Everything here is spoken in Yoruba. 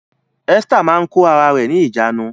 Esther máa ń kóra rẹ̀ ní ìjánu